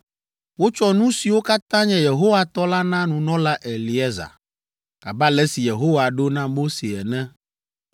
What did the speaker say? Wotsɔ nu siwo katã nye Yehowa tɔ la na nunɔla Eleazar, abe ale si Yehowa ɖo na Mose ene.